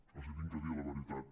els haig de dir la veritat